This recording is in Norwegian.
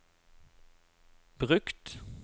brukt